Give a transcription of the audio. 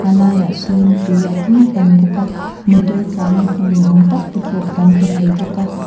a lai ah sawn tui a tling pam bawk a motor tlan na hnu ni awm tak te pawh kan hmu thei bawk a.